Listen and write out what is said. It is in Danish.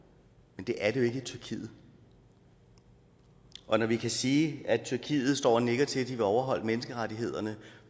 men det er det jo ikke i tyrkiet og når vi kan sige at tyrkiet står og nikker til at de vil overholde menneskerettighederne